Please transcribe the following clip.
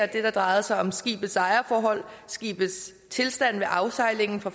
det der drejede sig om skibets ejerforhold skibets tilstand ved afsejlingen fra